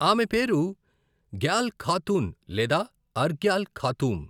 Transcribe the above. ఆమె పేరు గ్యాల్ ఖాతున్ లేదా అర్గ్యాల్ ఖాతూమ్.